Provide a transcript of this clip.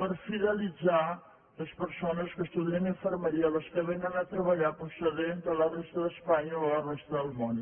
per fidelitzar les persones que estudien infermeria les que vénen a treballar procedents de la resta d’espanya o de la resta del món